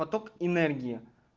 поток энергии